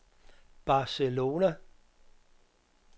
Barcelona